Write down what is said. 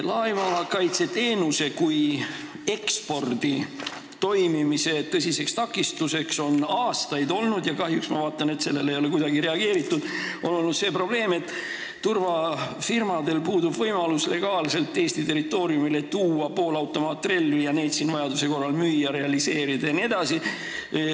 Laevakaitse teenuse ekspordi toimimise tõsiseks takistuseks on aastaid olnud – kahjuks ma vaatan, et sellele ei ole kuidagi reageeritud – see, et turvafirmadel puudub võimalus legaalselt tuua Eesti territooriumile poolautomaatrelvi ja neid siin vajaduse korral müüa, realiseerida jne.